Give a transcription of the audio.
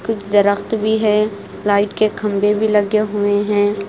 कुछ दरख्त भी है लाइट के खंबे भी लगे हुए हैं।